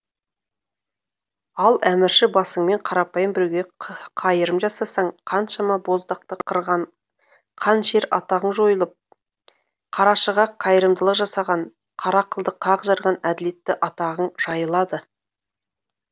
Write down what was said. ал әмірші басыңмен қарапайым біреуге қайырым жасасаң қаншама боздақты қырған қан ішер атағың жойылып қарашыға қайырымдылық жасаған қара қылды қақ жарған әділетті атағың жайылады